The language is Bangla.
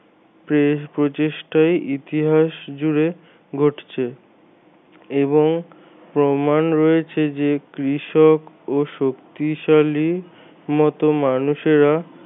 বেশ প্রচেষ্টাই ইতিহাস জুড়ে ঘটছে এবং প্রমাণ রয়েছে যে কৃষক ও শক্তিশালী মত মানুষেরা